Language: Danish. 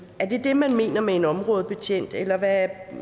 er det det man mener med en områdebetjent eller hvad